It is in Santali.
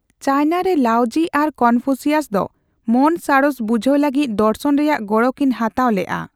ᱪᱟᱭᱱᱟ ᱨᱮ ᱞᱟᱣᱡᱤ ᱟᱨ ᱠᱚᱱᱯᱷᱩᱥᱤᱭᱟᱥ ᱫᱚ ᱢᱚᱱ ᱥᱟᱬᱮᱥ ᱵᱩᱡᱷᱟᱣ ᱞᱟᱹᱜᱤᱫ ᱫᱚᱨᱥᱚᱱ ᱨᱮᱭᱟᱜ ᱜᱚᱲᱚ ᱠᱤᱱ ᱦᱟᱛᱟᱣ ᱞᱮᱜᱼᱟ ᱾